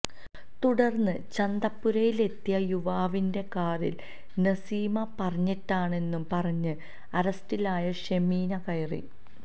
തുടർന്ന് ചന്തപ്പുരയിലെത്തിയ യുവാവിന്റെ കാറിൽ നസീമ പറഞ്ഞിട്ടാണെന്നു പറഞ്ഞ് അറസ്റ്റിലായ ഷെമീന കയറി